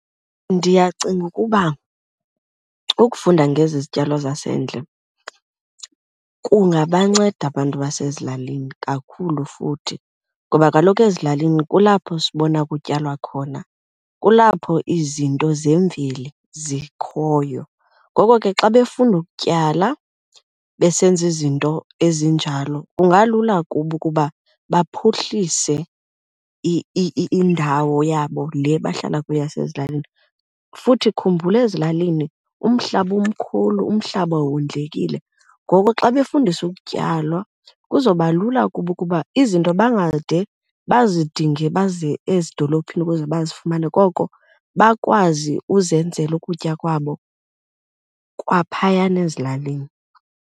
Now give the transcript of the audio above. Ndiyacinga ukuba ukufunda ngezi zityalo zasendle kungabanceda abantu basezilalini kakhulu futhi ngoba kaloku ezilalini kulapho sibona kutyalwa khona, kulapho izinto zemveli zikhoyo. Ngoko ke xa befunda ukutyala besenza izinto ezinjalo kungalula kubo ukuba baphuhlise indawo yabo le bahlala kuyo yasezilalini. Futhi khumbula ezilalini umhlaba umkhulu, umhlaba wondlekile, ngoku xa befundiswa ukutyalwa kuzoba lula kubo ukuba izinto bangade bazidinge baze ezidolophini ukuze bazifumane koko bakwazi uzenzela ukutya kwabo kwaphayana ezilalini.